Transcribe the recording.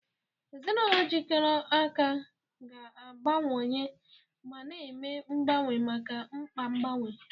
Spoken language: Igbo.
Ezinụlọ jikọrọ aka ga-agbanwewanye ma na-eme mgbanwe maka mkpa mgbanwe.